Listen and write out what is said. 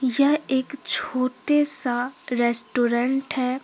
यह एक छोटे सा रेस्टोरेंट है।